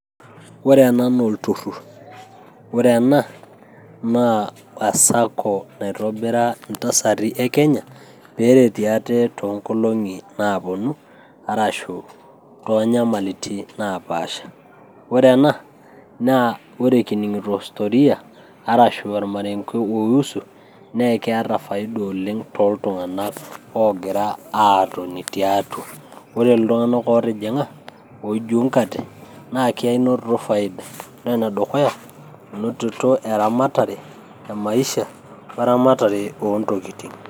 Ore ena naa olturrur. Ore ena naa e sacco naitobira intasati e Kenya, peretie ate toonkolong'i naponu, arashu tonyamalitin napaasha. Ore ena na ore kining'ito historia ,arashu ormarenke oiusu, na keeta faida oleng' toltung'anak ogira aatoni tiatua. Ore iltung'anak otijing'a oijuunkate, na kenotito faida. Na ore enedukuya, enotito eramatare emaisha weramatare ontokiting'.